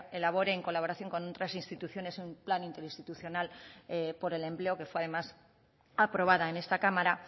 elabore en colaboración con otras instituciones un plan interinstitucional por el empleo que fue además aprobada en esta cámara